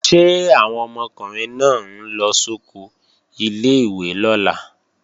Ṣé àwọn ọmọkùnrin náà ń lọ sóko ilé-ìwé lọ́la?